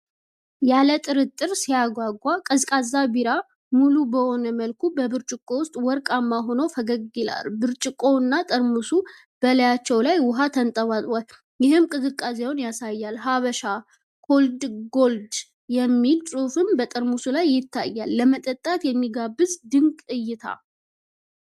ያለ ጥርጥር ሲያጓጓ! ቀዝቃዛ ቢራ ሙሉ በሆነ መልኩ በብርጭቆ ውስጥ ወርቃማ ሆኖ ፈገግ ይላል። ብርጭቆውና ጠርሙሱ በላያቸው ላይ ውኃ ተንጠብጥቧል፣ ይህም ቅዝቃዜውን ያሳያል። 'ሀበሻ ኮልድ ጎልድ' የሚል ጽሑፍ በጠርሙሱ ላይ ይታያል። ለመጠጣት የሚጋብዝ ድንቅ እይታ!